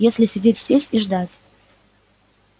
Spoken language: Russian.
если сидеть здесь и ждать